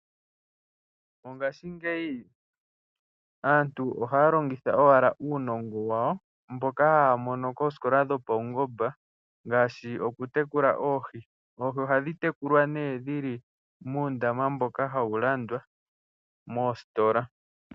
Mongaashingeyi aantu ohaya longitha owala uunongo wa wo, moka haya mono koositola dhopaungomba ngaashi oku tekula oohi. Oohi ohadhi tekulwa nee dhili muundama mboka hawu landwa moositola.